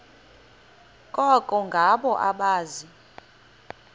koko ngabo abaza